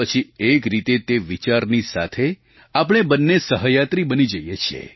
પછી એક રીતે તે વિચારની સાથે આપણે બંને સહયાત્રી બની જઇએ છીએ